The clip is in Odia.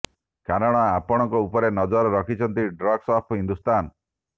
କାରଣ ଆପଣଙ୍କ ଉପରେ ନଜର ରଖିଛନ୍ତି ଠଗ୍ସ ଅଫ୍ ହିନ୍ଦୁସ୍ତାନ